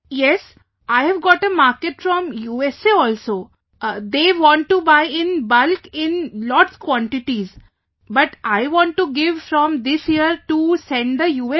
Vijayashanti ji Yes, I have got a market from USA also they want to buy in bulk in lots quantities, but I want to give from this year to send the U